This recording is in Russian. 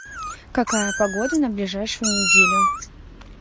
какая погода на ближайшую неделю